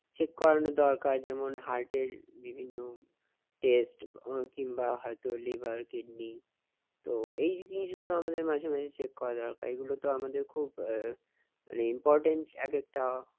check করানো দরকার যেমন হার্টের বিভিন্ন test কিংবা হয়তো লিভার কিডনি । তো এই জিনিসগুলো আমাদের মাঝে মাঝে check করা দরকার এগুলো তো আমাদের খুব important এক একটা